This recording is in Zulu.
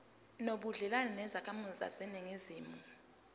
nobudlelwane nezakhamizi zaseningizimu